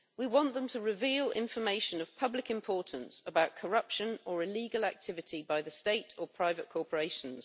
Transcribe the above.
We want them to reveal information of public importance about corruption or illegal activity by the state or private corporations.